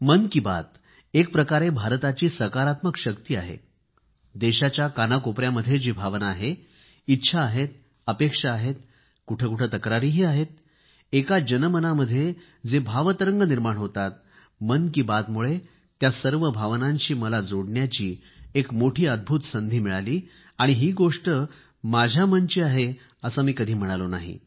मन की बात एकप्रकारे भारताची सकारात्मक शक्ती आहे देशाच्या कानाकोपयामध्ये जी भावना आहे इच्छा आहेत अपेक्षा आहेत कुठेकुठे तक्रारीही आहेत लोकांच्या मनात जो भावतरंग निर्माण होतो मन की बात मुळे त्या सर्व भावनांशी मला जोडण्याची एक मोठी अद्भूत संधी मिळाली आणि ही गोष्ट माझ्या मनाची आहे असे मी कधी म्हणालो नाही